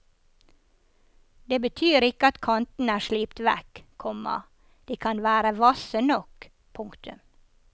Det betyr ikke at kantene er slipt vekk, komma de kan være hvasse nok. punktum